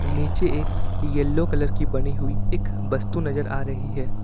नीचे एक yellow colour की बनी हुई वस्तु नजर आ रही है।